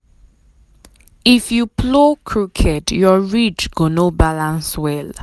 if you plow crooked your ridge go no balance well.